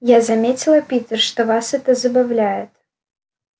я заметила питер что вас это забавляет